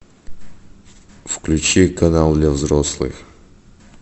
включи канал для взрослых